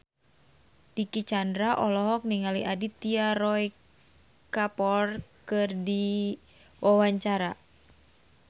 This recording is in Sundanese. Dicky Chandra olohok ningali Aditya Roy Kapoor keur diwawancara